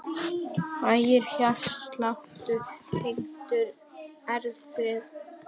Hægur hjartsláttur tengdur erfðum